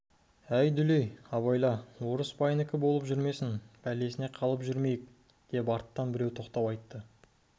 әй дүлей абайла орыс байынікі болып жүрмесін бәлесіне қалып жүрмейік деп арттан біреу тоқтау айтты